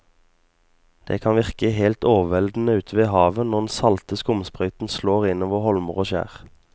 Det kan virke helt overveldende ute ved havet når den salte skumsprøyten slår innover holmer og skjær.